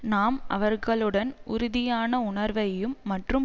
நாம் அவர்களுடன் உறுதியான உணர்வையும் மற்றும்